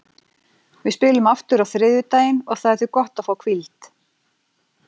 Við spilum aftur á þriðjudaginn og það er því gott að fá hvíld.